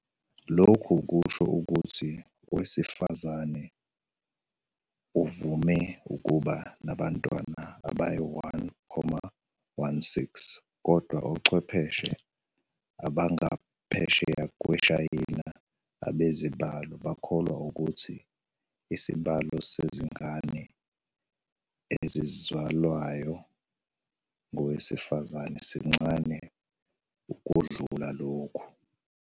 Lokho kusho ukuthi owesifazane uvame ukuba nabantwana abayi-1.16, kodwa abachwephese abangaphesheya kweShayina ebezibalo bakholwa ukuthi isibalo sezingane ezizalwayo ngowesifazane sincane ukundlula lokhu.